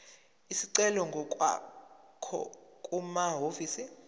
isicelo ngokwakho kumahhovisi